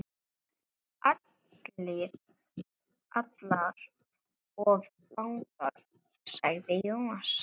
Allar of langar, sagði Jónas.